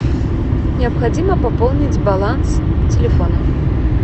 необходимо пополнить баланс телефона